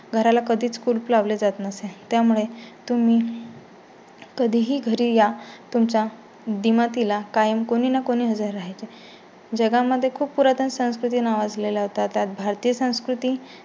घराला कधीच कुलूप लावले जात नसे. त्यामुळे तुम्ही कधीही घरी या तुमच्या दिमतीला कायम कोणी ना कोणी हजर राहायचे जगा मध्ये खूप पुरातन संस्कृती नावाजलेला होता. त्यात भारतीय संस्कृती.